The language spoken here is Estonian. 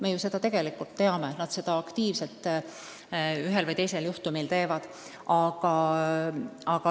Me ju seda teame, et paljud seda aktiivselt teevad.